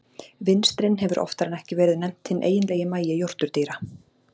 Vinstrin hefur oftar en ekki verið nefnt hinn eiginlegi magi jórturdýra.